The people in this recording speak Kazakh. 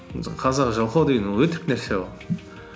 мысалы қазақ жалқау деген ол өтірік нәрсе ол